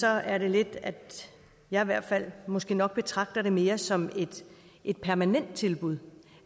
er det lidt at jeg i hvert fald måske nok betragter det mere som et permanent tilbud